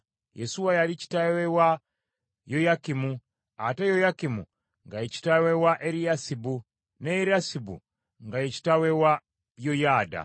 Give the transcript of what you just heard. Yesuwa yali kitaawe wa Yoyakimu, ate Yoyakimu nga ye kitaawe wa Eriyasibu, ne Eriyasibu nga ye kitaawe wa Yoyaada,